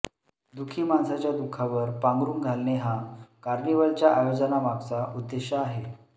दुःखी माणसाच्या दुःखावर पांघरुण घालणे हा कार्निवलच्या आयोजनामागचा उद्देश आहे